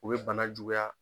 O be bana juguya.